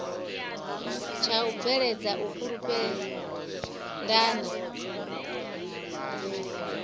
tsha u bveledza u fhulufhelana